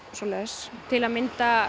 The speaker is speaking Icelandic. svoleiðis til að mynda